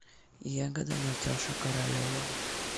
ягода наташа королева